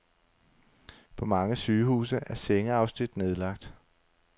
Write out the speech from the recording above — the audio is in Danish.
På mange sygehuse er sengeafsnit nedlagt.